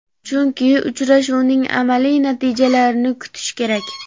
chunki uchrashuvning amaliy natijalarini kutish kerak.